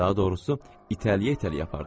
Daha doğrusu, itələyə-itələyə apardılar.